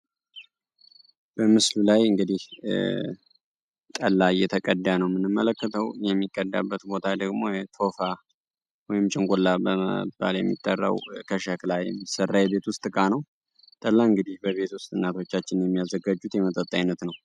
በምስሉ ላይ እንግዲህ ጠላ እየተቀዳ ነው የምንመለከተው የሚቀዳበት ቦታ ደግሞ ቶፋ ወይንም ጭንቁላ በመባል የሚጠራው ከሸክላ የሚሰራ የቤት ውስጥ እቃ ነው። ጠላ እንግዲህ በቤት ውስጥ እናቶቻችን የሚያዘጋጁት የመጠጥ አይነት ነው።